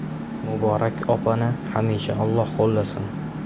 Muborak opani hamisha Alloh qo‘llasin.